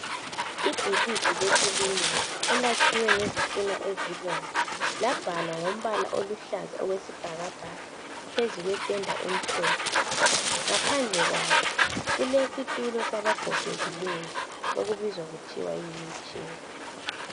Ibhilide lekilinike elikhiwe ngezitina ezibomvu labhalwa ngombala oluhlaza okwesibhakabhaka phezu kwependa emhlophe, ngaphandle kwalo kulomutshina wabagogekileyo okubizwa kuthwa yi wheel chair.